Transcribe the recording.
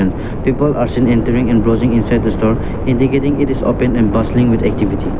people are seen entering and browsing inside the store indicating it is open and bustling with activity.